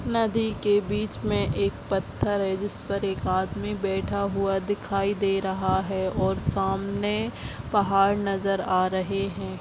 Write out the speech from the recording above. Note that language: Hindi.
नदी के बिच में एक पत्थर है जिसपर एक आदमी बैठा हुआ दिखाई दे रहा है और सामने पहाड़ नजर आ रहे हैं।